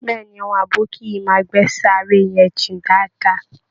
Bẹ́ẹ̀ ni, àwọn abókì yìí máa gbẹ́ sàárè yẹn jìn dáadáa